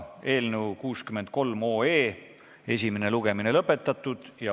Eelnõu 63 esimene lugemine on lõpetatud.